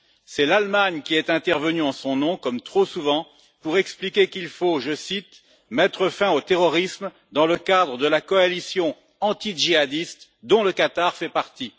C'est l'Allemagne qui est intervenue en son nom, comme trop souvent, pour expliquer qu'il faut, je cite mettre fin au terrorisme, dans le cadre de la coalition anti djihadiste dont le Qatar fait partie.